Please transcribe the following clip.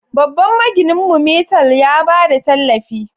Babban magininmu, Metal, ya ba da tallafi